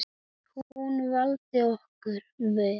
Hún vildi okkur vel.